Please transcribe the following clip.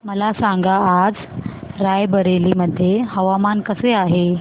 मला सांगा आज राय बरेली मध्ये हवामान कसे आहे